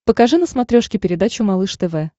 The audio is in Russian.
покажи на смотрешке передачу малыш тв